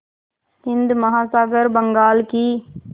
हिंद महासागर बंगाल की